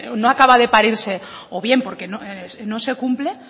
no acaba de parirse o bien porque no se cumple